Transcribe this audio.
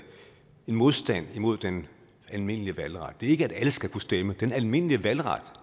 modstand imod den almindelige valgret det er ikke at alle skal kunne stemme den almindelige valgret